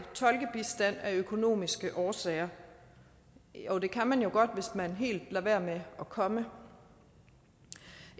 tolkebistand af økonomiske årsager jo det kan man jo godt hvis man helt lader være med at komme